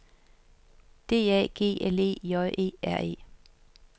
D A G L E J E R E